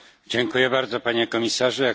Dziękuję bardzo, Panie Komisarzu.